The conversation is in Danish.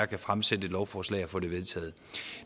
kan fremsætte et lovforslag og få det vedtaget